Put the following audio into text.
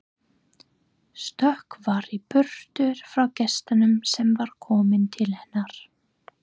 Stökkva í burtu frá gestinum sem var kominn til hennar.